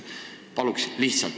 Paluks lihtsalt!